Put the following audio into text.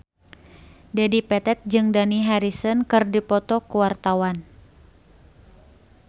Dedi Petet jeung Dani Harrison keur dipoto ku wartawan